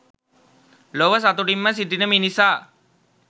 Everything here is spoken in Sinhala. ලොව සතුටින්ම සිටින මිනිසා